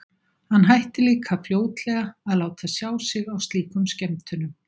Hann hætti líka fljótlega að láta sjá sig á slíkum skemmtunum.